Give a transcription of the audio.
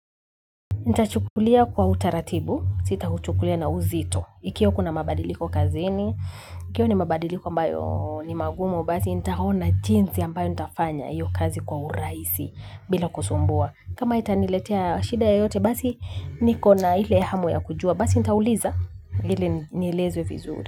Ntachukulia kwa utaratibu, sita uchukulia na uzito, ikiwa kuna mabadiliko kazini, ikiwa ni mabadiliko ambayo ni magumu basi nitaona jinsi ambayo nitafanya hiyo kazi kwa urahisi bila kusumbua. Kama itaniletea shida ya yote, basi niko na hile hamu ya kujua, basi nitauliza hili nielezwe vizuri.